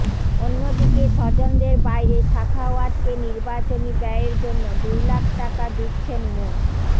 অন্যদিকে স্বজনদের বাইরে সাখাওয়াতকে নির্বাচনী ব্যয়ের জন্য দুই লাখ টাকা দিচ্ছেন মো